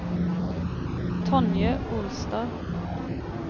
Tonje Olstad